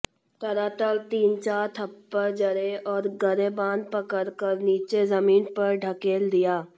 तड़ातड़ तीन चार थप्पड़ जड़े और गरेबान पकड़ कर नीचे ज़मीन पर ढकेल दिया